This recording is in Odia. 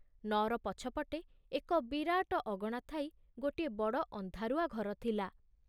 ନଅର ପଛପଟେ ଏକ ବିରାଟ ଅଗଣା ଥାଇ ଗୋଟିଏ ବଡ଼ ଅନ୍ଧାରୁଆ ଘର ଥିଲା।